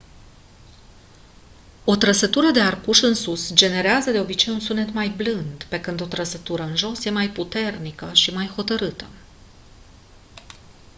o trăsătură de arcuș în sus generează de obicei un sunet mai blând pe când o trăsătură în jos e mai puternică și mai hotărâtă